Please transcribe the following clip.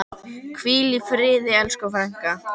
Hvíl í friði elsku frænka.